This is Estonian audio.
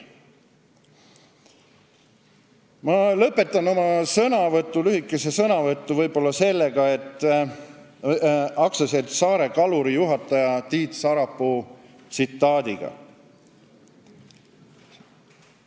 Ma lõpetan oma lühikese sõnavõtu AS-i Saare Kalur juhataja Tiit Sarapuu tsitaadiga.